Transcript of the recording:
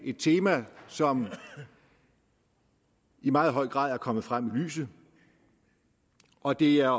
et tema som i meget høj grad er kommet frem i lyset og det er